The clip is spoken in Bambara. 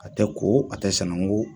A tɛ ko, a tɛ sananko.